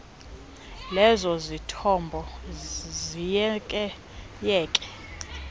lezo zithombo ziyekeyeke